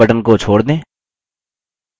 अब mouse button को छोड़ दें